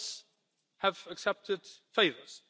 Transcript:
Others have accepted favours.